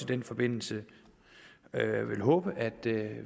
den forbindelse at